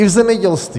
I v zemědělství!